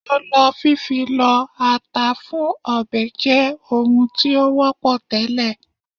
Ọlọ fífi lọ ata fún ọbẹ̀ jẹ́ ohun tí ó wọ́pọ̀ tẹ́lẹ̀